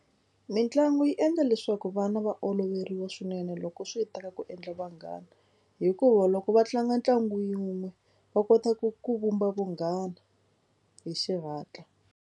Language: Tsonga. Mitlangu yi endla leswaku vana va oloveriwa swinene loko swi ta ka ku endla vanghana hikuva loko va tlanga ntlangu yi wun'we va kota ku ku vumba vunghana hi xihatla.